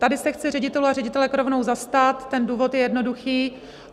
Tady se chci ředitelů a ředitelek rovnou zastat, ten důvod je jednoduchý.